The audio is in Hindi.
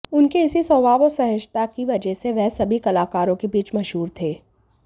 उनके इसी स्वभाव और सहजता की वजह से वह सभी कलाकारों के बीच मशहूर थे